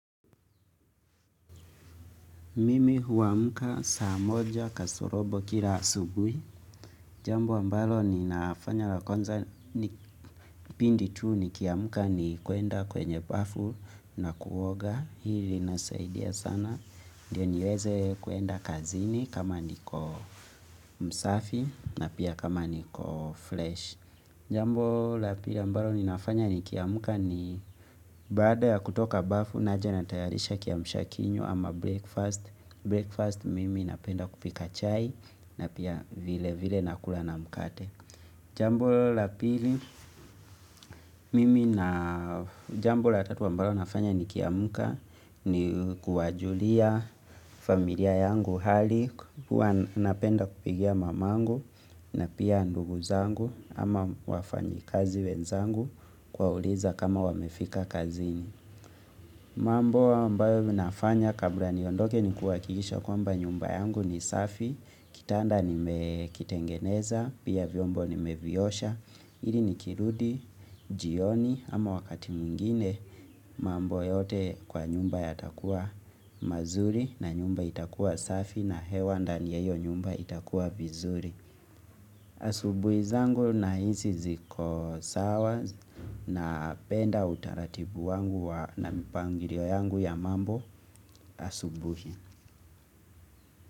Mimi huamka saa moja kasorobo kila asubuhi. Jambo ambalo ni nafanya lakwanza pindi tuu ni kiamka ni kuenda kwenye bafu na kuoga hili inasaidia sana. Ndiyo niweze kuenda kazini kama niko msafi na pia kama niko flesh. Jambo la pila ambalo ninafanya nikiamka ni baada ya kutoka bafu naja natayarisha kiamshakinyo ama breakfast. Breakfast mimi napenda kupika chai na pia vile vile nakula na mkate Jambo la pili mimi na jambo la tatu wa ambalo nafanya ni kiamka ni kuwajulia familia yangu hali kuwa napenda kupigia mamangu na pia ndugu zangu Ama wafanyi kazi wenzangu kwauliza kama wamefika kazini mambo ambao winafanya kabla niondoke ni kuwa kihakisha nnyumba yangu ni safi, kitanda ni mekitengeneza, pia vyombo ni meviyosha, ili ni kirudi, jioni ama wakati mwingine mambo yote kwa nyumba yatakuwa mazuri na nyumba itakuwa safi na hewa ndani yeyo nyumba itakuwa vizuri. Asubuhi zangu na hizi zikosawa na penda utaratibu wangu na mpangiria yangu ya mambo asubuhi.